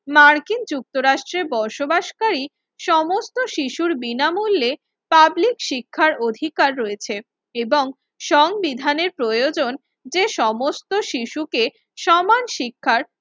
মার্কিন যুক্তরাষ্ট্রে বসবাসকারী সমস্ত শিশুর বিনামূল্যে পাবলিক শিক্ষার অধিকার রয়েছে এবং সংবিধানের প্রয়োজন যে সমস্ত শিশুকে সমান শিক্ষার